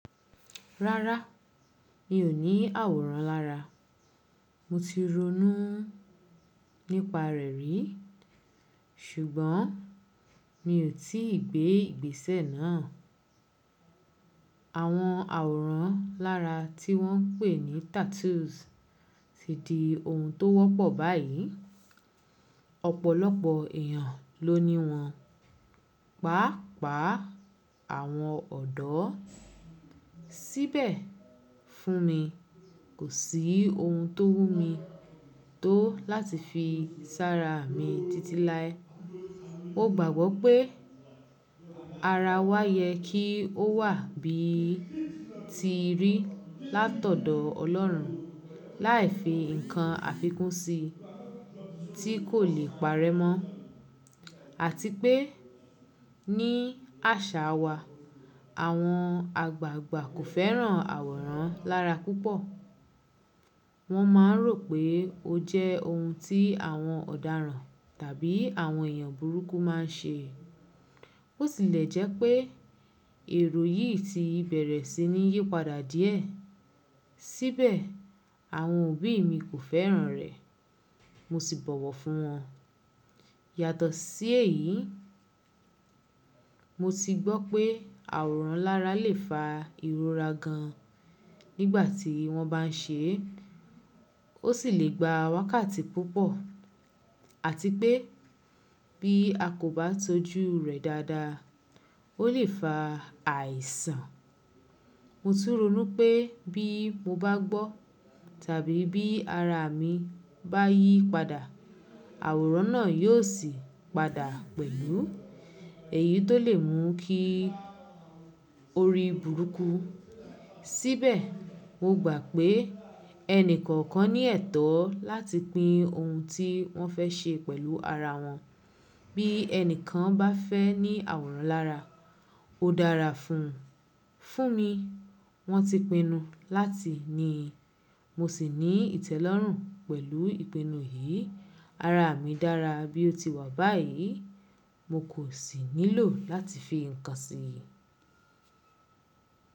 Rárá, mi ò ní àwòrán lára. Mo ti ronú nípa rẹ̀ rí, ṣùgbọ́n mi ò tí ì gbé ìgbésẹ̀ náà. Àwọn àwòrán lára tí wọ́n ń pè ní tattoos ti di ohun tó wọ́pọ̀ báyìí, ọ̀pọ̀lọpọ̀ èèyàn ló ní wọn. Pàápàá àwọn ọ̀dọ́. Síbẹ̀ fún mi, kò sí ohun tó wùn mí tó láti fi sára mi títí láé. Mo gbàgbọ́ pé ara wa yẹ kí ó wà bí ti rí látọ̀dọ̀ Ọlọ́run láì fi ǹkan àfikún si tí kò lè parẹ́ mọ́, àti pé ní àṣàa wa, àwọn àgbàgbà kò fẹ́ràn àwòrán lára púpọ̀. Wọ́n máa ń rò pé ó jẹ́ ohun tí àwọn ọ̀daràn tàbí àwọn èèyàn burúkú máa ń ṣe. Bo tìlẹ̀ jẹ́ pé èrò yìí ti bẹ̀rẹ̀ sí ní yípadà díẹ̀. Síbẹ̀, àwọn òbí mi kò fẹ́ràn rẹ̀, mo sì bọ̀wọ̀ fún wọn. Yàtọ̀ sí èyí, mo ti gbọ́ pé àwòrán lára lè fa ìrora gan nígbà tí wọ́n bá ń ṣe é, ó sì lè gba wákàtí púpọ̀, àti pé bí a kò bá tọ́jú rẹ̀ dáadáa, ó lè fa àìsàn. Mo túró mú pé bí mo bá gbọ́ tàbí bí ara mi bá yí padà, àwòrán náà yóò sì padà pẹ̀lú èyí tó lè mú kí ó rí burúkú. Síbẹ̀, mo gbà pé ẹni kọ̀ọ̀kan ní ẹ̀tọ́ láti pín ohun tí wọ́n fẹ́ ṣe pẹ̀lú ara wọn. Bí ẹni kan bá fẹ́ ní àwòrán lára, ó dára fún un. Fún mi, wọ́n ti pinu láti ní i, mo sì ní ìtẹ́lọ́rùn pẹ̀lú ìpinu yìí. Ara mi dára bí ó ti wà báyìí, mo kò sì nílò láti fi ǹkan sí i.